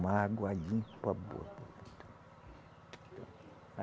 Uma água limpa, boa.